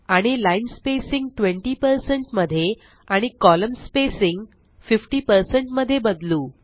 आणि line spacing 20 percent मध्ये आणि कोलम्न स्पेसिंग 50 पर्सेंट मध्ये बदलू